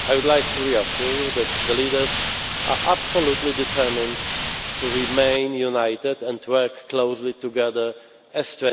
I would like to reassure you that the leaders are absolutely determined to remain united and work closely together